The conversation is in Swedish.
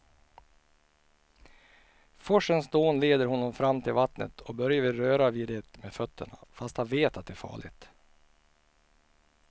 Forsens dån leder honom fram till vattnet och Börje vill röra vid det med fötterna, fast han vet att det är farligt.